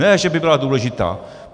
Ne že by byla nedůležitá.